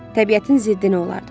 Təbiətin ziddinə olardı.